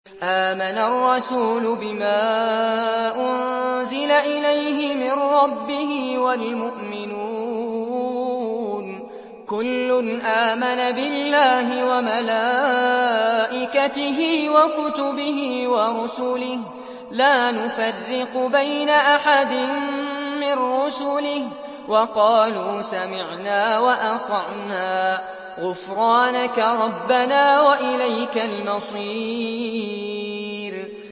آمَنَ الرَّسُولُ بِمَا أُنزِلَ إِلَيْهِ مِن رَّبِّهِ وَالْمُؤْمِنُونَ ۚ كُلٌّ آمَنَ بِاللَّهِ وَمَلَائِكَتِهِ وَكُتُبِهِ وَرُسُلِهِ لَا نُفَرِّقُ بَيْنَ أَحَدٍ مِّن رُّسُلِهِ ۚ وَقَالُوا سَمِعْنَا وَأَطَعْنَا ۖ غُفْرَانَكَ رَبَّنَا وَإِلَيْكَ الْمَصِيرُ